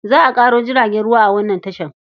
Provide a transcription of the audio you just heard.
Za a ƙaro jiragen ruwa a wannan tashar.